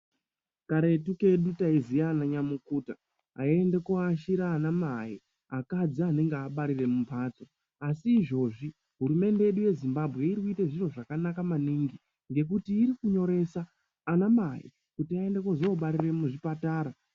Karetu kedu taiziya ananyamukuta aiende koashire anamai akadzi anenge abarire mumbatso asi izvozvi hurumende yedu yeZimbabwe iri kuite zviro zvakanaka maningi ngekuti iri kunyoresa anamai kuti vaende kuzobarire muzvipatara.